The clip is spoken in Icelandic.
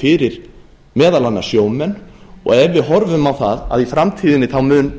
fyrir meðal annars sjómenn og ef við horfum á það að í framtíðinni mun